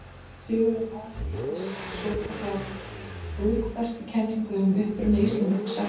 Sigurður aðhylltist svokallaða bókfestukenningu um uppruna Íslendinga sagna.